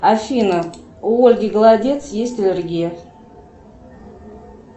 афина у ольги голодец есть аллергия